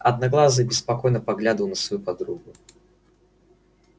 одноглазый беспокойно поглядывал на свою подругу